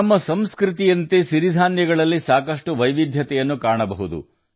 ನಮ್ಮ ಸಂಸ್ಕೃತಿಯಂತೆಯೇ ಸಿರಿಧಾನ್ಯಗಳಲ್ಲಿಯೂ ಸಾಕಷ್ಟು ವೈವಿಧ್ಯ ಕಂಡುಬರುತ್ತದೆ